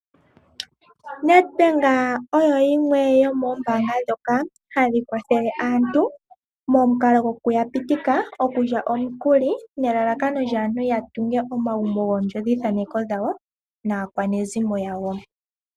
Nedbank oyo yimwe yomombanga dhoka hadhikwathele aantu momunkalo goku yapitika okulya omukuli nelalakano aantu yatunge omagumbo gondjodhi thaneko dhawo naakwanezimo yawo.